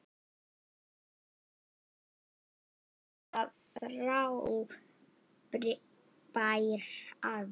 Þú varst líka frábær afi.